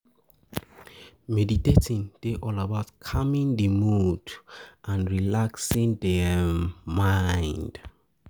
Meditating dey all about calming di mood and relaxing di um mind